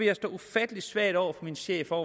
jeg stå ufattelig svagt over for min chef og